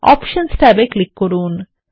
options ট্যাবে click করুন